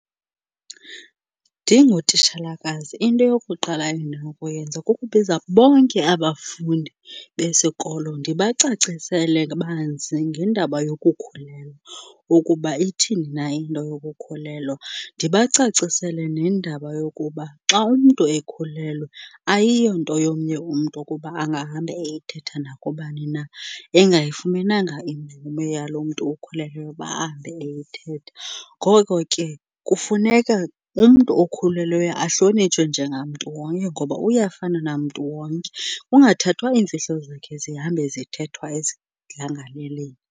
Ndingutitshalakazi into yokuqala endinokuyenza kukubiza bonke abafundi besikolo ndibacacisele banzi ngendaba yokukhulelwa, ukuba ithini na into yokukhulelwa. Ndibacacisele nendaba yokuba xa umntu ekhulelwe ayiyo nto yomnye umntu okuba angahamba eyithetha nakubani na engayifumenanga imvume yaloo mntu ukhulelweyo uba ahambe eyithetha. Ngoko ke kufuneka umntu okhulelweyo ahlonitshwe njengamntu wonke ngoba uyafana namntu wonke, kungathathwa iimfihlo zakhe zihambe zithethwa esidlangalaleni.